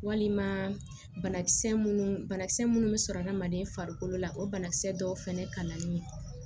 Walima banakisɛ munnu banakisɛ minnu bɛ sɔrɔ hadamaden farikolo la o banakisɛ dɔw fana kalannin